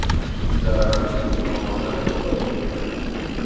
Zararli tomonlari ko‘paymoqda.